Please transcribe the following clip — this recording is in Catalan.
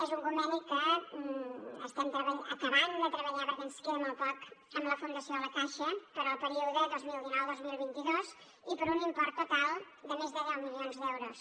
és un conveni que estem acabant de treballar perquè ens queda molt poc amb la fundació la caixa per al període dos mil dinou dos mil vint dos i per un import total de més de deu milions d’euros